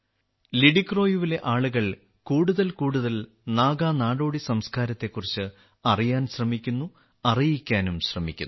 ലിഡിക്രോയുവിലെ ആളുകൾ കൂടുതൽ കൂടുതൽ നാഗ നാടോടി സംസ്കാരത്തെക്കുറിച്ച് അറിയാൻ ശ്രമിക്കുന്നു അറിയിക്കാനും ശ്രമിക്കുന്നു